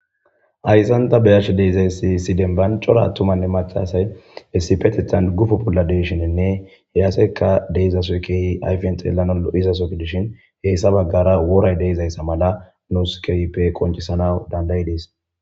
Haysa ta be'ashe dizaysi issi demba c'ora attumanne mac'c'a asay issippetethan guppo bolla de'ishinne he asayka de'izaso kehi ayfen xelanaw lo'izaso gidoshin issi bagara woray de'izaysa mala nus kehippe qonc'isanaw danda'ides.